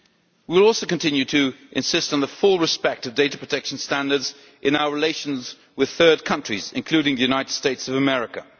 We will also continue to insist on the full observance of data protection standards in our relations with third countries, including the United States of America.